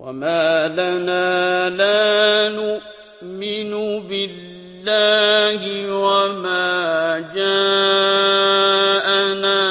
وَمَا لَنَا لَا نُؤْمِنُ بِاللَّهِ وَمَا جَاءَنَا